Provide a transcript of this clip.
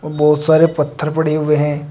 बहोत सारे पत्थर पड़े हुए हैं।